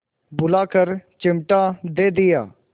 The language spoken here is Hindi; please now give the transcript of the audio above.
बुलाकर चिमटा दे दिया